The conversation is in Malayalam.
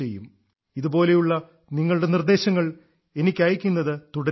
ഇതുപോലുള്ള നിങ്ങളുടെ നിർദ്ദേശങ്ങൾ എനിക്ക് അയയ്ക്കുന്നത് തുടരുക